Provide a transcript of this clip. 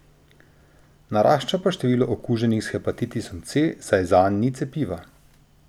Narašča pa število okuženih s hepatitisom C, saj zanj ni cepiva.